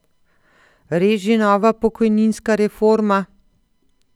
Res že nova pokojninska reforma?